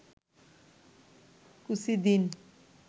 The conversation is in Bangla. কুচি দিন